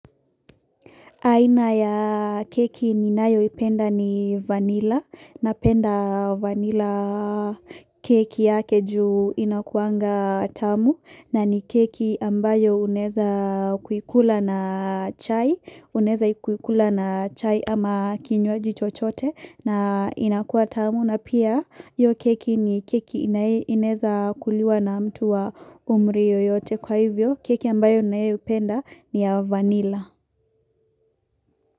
Aina ya keki ninayoipenda ni vanilla. Napenda vanilla keki yake juu inakuanga tamu na ni keki ambayo unaeza kuikula na chai. Unaeza kuikula na chai ama kinywaji chochote na inakuwa tamu na pia io keki ni keki inaeza kuliwa na mtu wa umri yoyote kwa hivyo. Keki ambayo ninayoipenda ni ya vanilla.